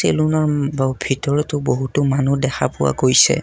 চেলুনৰ উম বও ভিতৰতো বহুতো মানুহ দেখা পোৱা গৈছে।